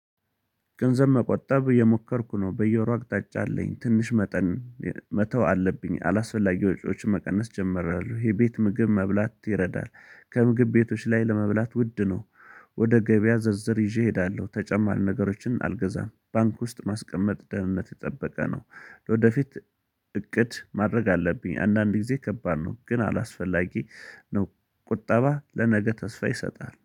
ገንዘብ መቆጠብ የሞከርኩ ነው በየወሩ አቅጣጫ አለኝ ትንሽ መጠን መተው አለብኝ አላስፈላጊ ወጪዎችን መቀነስ ጀምሬያለሁ የቤት ምግብ መብላት ይረዳል። ከምግብ ቤቶች ላይ ለመብላት ውድ ነው። ወደ ገበያ ዝርዝር ይዤ እሄዳለሁ ተጨማሪ ነገሮችን አልገዛም ባንክ ውስጥ ማስቀመጥ ደህንነት የጠበቀ ነው። ለወደፊት እቅድ ማድረግ አለብኝ። አንዳንድ ጊዜ ከባድ ነው ግን አላስፈላጊ ነው። ቁጠባ ለነገ ተስፋ ይሰጣል